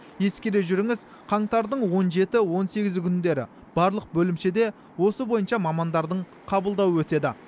ескере жүріңіз қаңтардың он жеті он сегізі күндері барлық бөлімшеде осы бойынша мамандардың қабылдауы өтеді